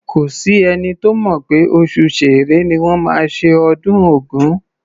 Kò s’ẹ́ni tó mọ̀ pé oṣù Ṣẹẹrẹ ni wọ́n máa ṣe ọdún Ògún.